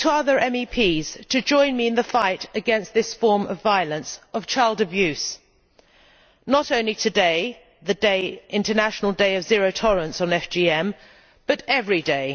I look to other MEPs to join me in the fight against this form of violence, of child abuse, not only today the International Day of Zero Tolerance to FGM but every day.